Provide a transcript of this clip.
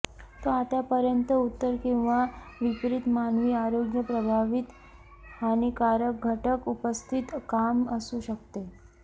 तो आतापर्यंत उत्तर किंवा विपरित मानवी आरोग्य प्रभावित हानीकारक घटक उपस्थितीत काम असू शकते